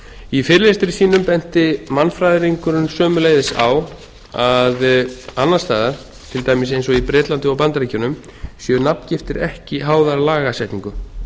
í fyrirlestri sínum benti mannfræðingurinn sömuleiðis á að annars staðar til dæmis eins og í bretlandi og bandaríkjunum séu nafngiftir ekki háðar lagasetningum